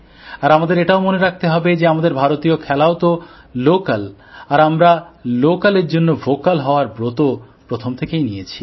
আর আমাদের এটাও মনে রাখতে হবে যে আমাদের ভারতীয় খেলাও তো লোকাল আর আমরা লোকাল এর জন্য ভোকাল হওয়ার ব্রত প্রথম থেকেই নিয়েছি